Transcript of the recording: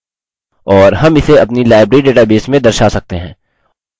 और हम इसे अपनी library database में दर्शा सकते हैं